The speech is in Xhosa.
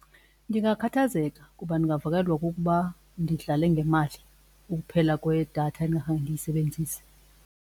Ndingakhathazeka kuba ndingavakalelwa kukuba ndidlale ngemali ukuphela kwedatha ndingakhange ndiyisebenzise.